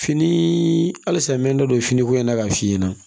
Fini halisa n bɛ da don fini ko in na k'a f'i ɲɛna